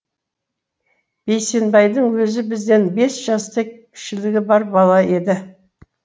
бейсенбайдың өзі бізден бес жастай кішілігі бар бала еді